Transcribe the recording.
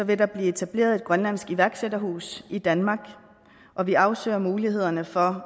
vil der blive etableret et grønlandsk iværksætterhus i danmark og vi afsøger mulighederne for